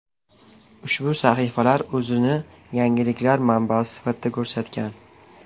Ushbu sahifalar o‘zini yangiliklar manbasi sifatida ko‘rsatgan.